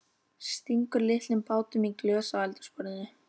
Stingur litlum bátum í glös á eldhúsborðinu.